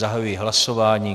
Zahajuji hlasování.